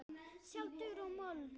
Sjá dúr og moll.